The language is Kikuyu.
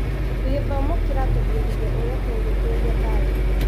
Gĩthomo kĩratũbundithia ũrĩa tũngĩtũria thayũ.